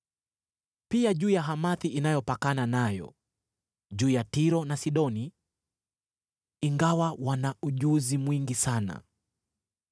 pia juu ya Hamathi inayopakana nayo, juu ya Tiro na Sidoni, ingawa wana ujuzi mwingi sana.